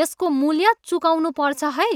यसको मूल्य चुकाउनु पर्छ है।